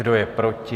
Kdo je proti?